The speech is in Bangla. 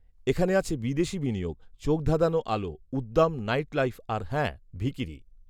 এখানে আছে বিদেশি বিনিয়োগ, চোখধাঁধানো আলো, উদ্দাম নাইটলাইফ আর হ্যাঁ, ভিখিরি